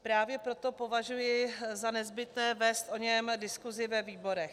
Právě proto považuji za nezbytné vést o něm diskusi ve výborech.